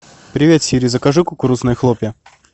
привет сири закажи кукурузные хлопья